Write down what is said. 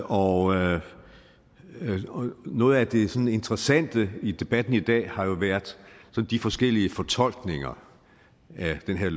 og noget af det sådan interessante i debatten i dag har jo været de forskellige fortolkninger af det her